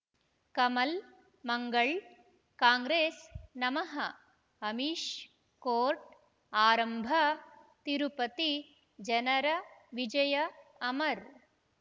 ಕಮಲ್ ಮಂಗಳ್ ಕಾಂಗ್ರೆಸ್ ನಮಃ ಅಮಿಷ್ ಕೋರ್ಟ್ ಆರಂಭ ತಿರುಪತಿ ಜನರ ವಿಜಯ ಅಮರ್